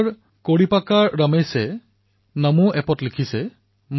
আৰু চাওতে চাওতে অনতিপলমে ছচিয়েল মিডিয়াত অসংখ্য প্ৰেৰণাদায়ী কাহিনীৰ লানি লাগিবলৈ ধৰিলে